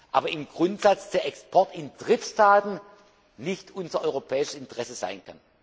muss. Aber im Grundsatz kann der Export in Drittstatten nicht unser europäisches Interesse